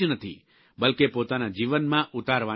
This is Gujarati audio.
બલ્કે પોતાના જીવનમાં ઉતારવાની પણ છે